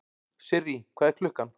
Sirrý, hvað er klukkan?